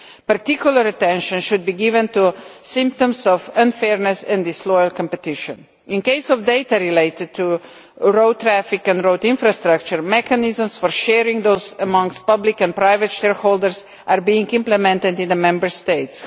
Particular attention should be given to symptoms of unfairness and disloyal competition. In the case of data related to road traffic and road infrastructure, mechanisms for sharing that data amongst public and private shareholders are being implemented in the Member States.